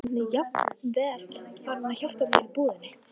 Hann er jafnvel farinn að hjálpa mér í búðinni.